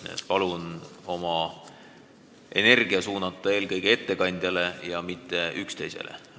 Nii et palun oma energia suunata eelkõige ettekandjale, mitte üksteisele.